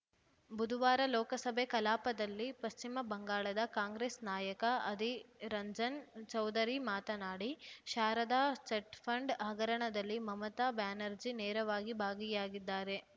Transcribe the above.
ಬುಧುವಾರ ಲೋಕಸಭೆ ಕಲಾಪದಲ್ಲಿ ಪಶ್ಚಿಮ ಬಂಗಾಳದ ಕಾಂಗ್ರೆಸ್‌ ನಾಯಕ ಅಧೀ ರಂಜನ್‌ ಚೌಧುರಿ ಮಾತನಾಡಿ ಶಾರದಾ ಚೆಟ್‌ಫಂಡ್‌ ಹಗರಣದಲ್ಲಿ ಮಮತಾ ಬ್ಯಾನರ್ಜಿ ನೇರವಾಗಿ ಭಾಗಿಯಾಗಿದ್ದಾರೆ